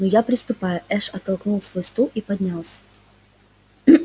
ну я приступаю эш оттолкнул свой стул и поднялся